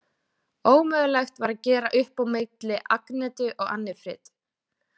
Ómögulegt var að gera upp á milli Agnetu og Annifrid.